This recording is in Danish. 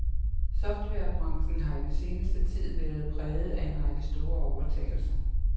Softwarebranchen har i den seneste tid være præget af en række store overtagelser.